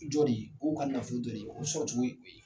Jɔ de ye u ka nafolo dɔ de ye o sɔrɔcogo ye o ye.